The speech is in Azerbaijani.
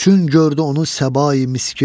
Çün gördü onu səbai miskin,